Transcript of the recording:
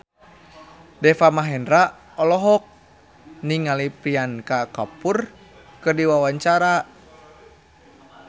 Deva Mahendra olohok ningali Priyanka Chopra keur diwawancara